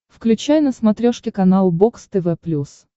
включай на смотрешке канал бокс тв плюс